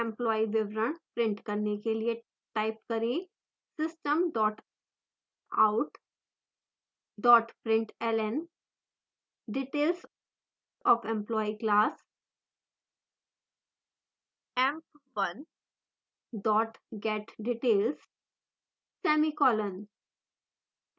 employee विवरण print करने के लिए type करें : system out println details of employee class: emp1 getdetails semicolon